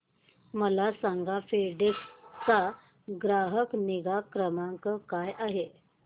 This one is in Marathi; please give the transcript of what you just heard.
मला सांगा फेडेक्स चा ग्राहक निगा क्रमांक काय आहे